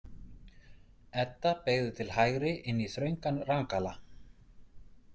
Edda beygði til hægri inn í þröngan rangala.